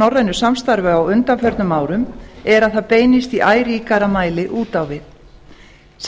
norrænu samstarfi á undanförnum árum er að það beinist í æ ríkara mæli út á við